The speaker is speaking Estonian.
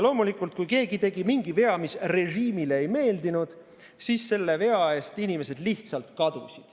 Loomulikult, kui keegi tegi mingi vea, mis režiimile ei meeldinud, siis selle vea eest inimesed lihtsalt kadusid.